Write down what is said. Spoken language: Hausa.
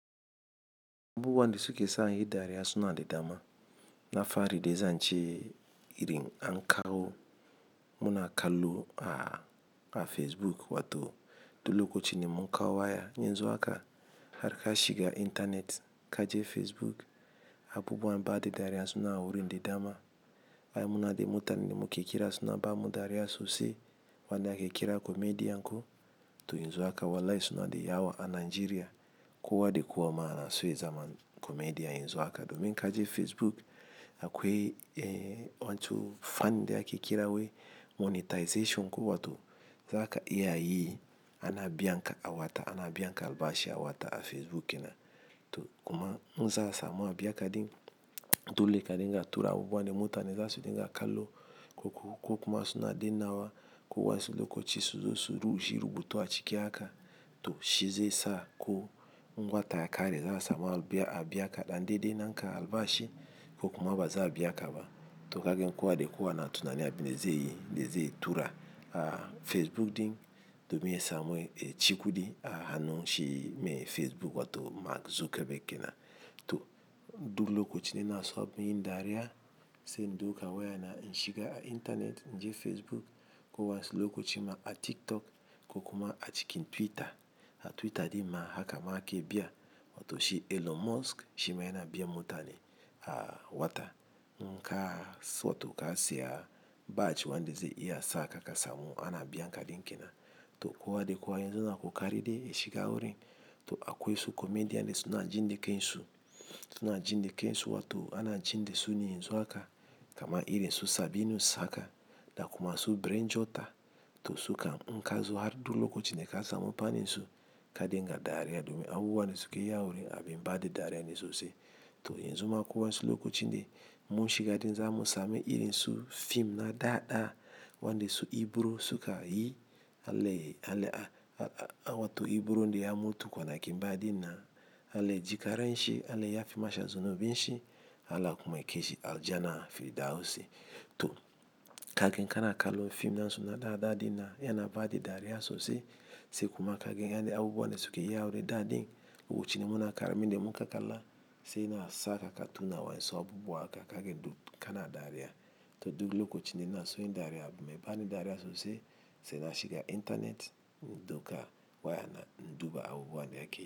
Abubuwan da suke sa inyi dariya suna da dama. Na farko dai zan ce irin an kawo muna kallo a Facebook wato duk lokacin mun kawo wa ya. Yanzu haka har ka shiga intanet ka je Facebook, abubuwan bada dariya suna wurin da dama. Ai munada muranen da muke kira suna ba mu dariya sosai. Wanda ake kira comedian ko, to yanzu haka wallahi suna da yawa a Najeriya. Kowa da kowa ma yana so ya zama komediyan yanzu haka. Domin inka je Facebook akwai wancan fan ɗin ake kira wai monetization ko wato zaka iya yi ana biyan ka a wata ana biyan ka albashi a wata a Facebook kenan. To kuma in za a samu a biya ka ɗin, to sole ka samu ka tura abubuwan da mutane za su dinga kallo ko ku- ko kuma suna danna wa ko wasu lokacin su zo su yi rubutu a cike haka to shize sa ko, wata ya kare za a samu a biya ka ɗan dai dai na ka albashi ko kuma ba za a biya ka ba. To kaga kowa da kowa na tunanin abin da zai yi zai tura a Facebook ɗin, domin ya samu ya cikudi a hannun shi mai Facebook wato Mark Zuckerberg kena. To duk lokacin da ina so abun yin dariya, sai in dauki waya na in shiga intanet, in je Facebook ko wasu lokacin ma a TikTok ko kuma a cikin Twitter. A Twitter ɗin ma haka ma ake biya. Wato shi Elon Musk shi ma yana biyan mutane a wata. In ka siya batch wanda zai iya sa ka ka samu ana biyan ka ɗin kenan. To kowa da kowa yanzu yana kokarin de ya shiga wurin to akwai wasu komediyan da su na ji da kan su, suna ji dakan su wato ana ji da su ne yanzu haka. Kama ln irin su Sabinus haka da kuma su Brain Jotter to sukan in kazo har duk lokacin da ka samu fan din su ka dinga dariya domin abubuwan da suke yi awurin abin bada dariya ne sosai. To yanzu ma ko wasu lokacin da muka shiga ɗin za mu sami irin su fim na dada wanda su Ibro suka yi wato Ibro ɗin daya mutu kwanakin baya ɗin nan. Allah ya jikan ranshi, Allah ya yafe masa zanubin shi, Allah kuma yakai shi aljanan firdausi. To ka ga in kana kallo fim na su na dada ɗin na yana bada dariya sosai. Sai kuma kaga yanayin abubuwan da suke ya a wurin da din lokacin muna yara da muka kalla sai ya sa ka tuna wasu abubuwa haka, ka ga kana dariya. To duk lokacin da na keson yin dariya, abin mai bani dariya sosai sai na shiga intanet in dauka waya na in duba abubuwan da yake yi-